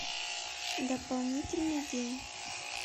дополнительный день